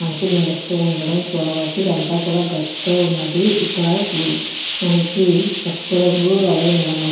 మనకు మెరుస్తూ ఉండడం చూడవచ్చు. ఇదంతా కూడా గచ్చుతో ఉన్నది. ఇక్కడ మనకి పసుపు రంగు మరియు నీలం రంగు--